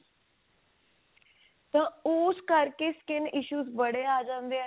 ਤਾਂ ਉਸ ਕਰਕੇ skin issue ਬੜੇ ਆ ਜਾਂਦੇ ਆ